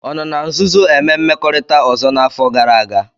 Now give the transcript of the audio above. Ọ nọ na nzuzo eme mmekorita ọzọ n'afọ gara aga?